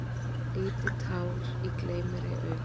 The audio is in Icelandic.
Lítið tár í gleym-mér-ei-auga.